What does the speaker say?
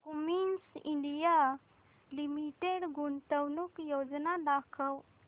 Cummins India limited गुंतवणूक योजना दाखव